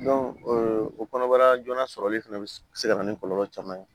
o kɔnɔbara joona sɔrɔli fɛnɛ be se ka na ni kɔlɔlɔ caman ye